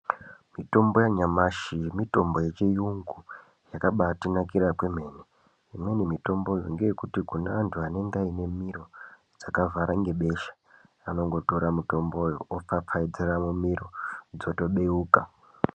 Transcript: Mitombo yanyamashi mitombo yechirungu yakabatinakira kwemene imweni mitombo ndeye kuti kune antu anenge ane miro dzakavhara nebesha vanongotora mitombo yoothakaizira mumiro dzotobeuka.